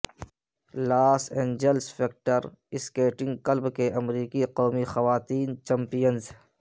لاس Angeles figure skating club کے امریکی قومی خواتین چیمپئنز